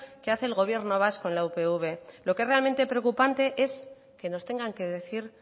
que hace el gobierno vasco en la upv lo que es realmente preocupante es que nos tengan que decir